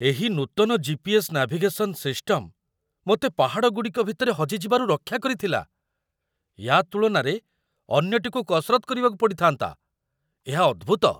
ଏହି ନୂତନ GPS. Navigation system ମୋତେ ପାହାଡ଼ଗୁଡ଼ିକ ଭିତରେ ହଜି ଯିବାରୁ ରକ୍ଷା କରିଥିଲା, ୟା ତୁଳନାରେ ଅନ୍ୟଟିକୁ କସରତ୍ କରିବାକୁ ପଡ଼ିଥାନ୍ତା। ଏହା ଅଦ୍ଭୁତ!